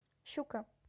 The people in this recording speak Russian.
щука